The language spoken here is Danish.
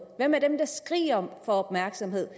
hvad med dem der skriger på opmærksomhed